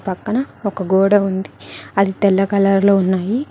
పక్కన ఒక గోడ ఉంది అది తెల్ల కలర్ లో ఉన్నాయి.